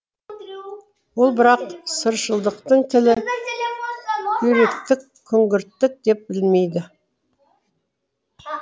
ол бірақ сыршылдықтың тілі күйректік күңгірттік деп білмейді